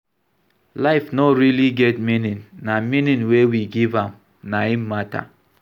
Life no really get meaning, na meaning wey we give am na im matter